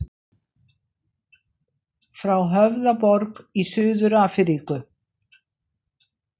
Frá Höfðaborg í Suður-Afríku.